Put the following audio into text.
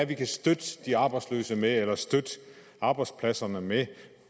vi kan støtte de arbejdsløse med eller støtte arbejdspladserne med